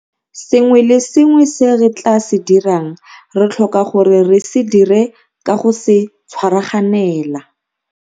Sengwe le sengwe se re tla se dirang, re tlhoka gore re se dire ka go se tshwaraganela.